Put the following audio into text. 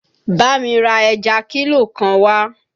Bámi ra ẹja kílò kan wá!